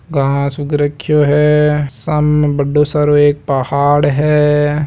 घास उग रख्यो है साममें बड़ो सारो एक पहाड़ है।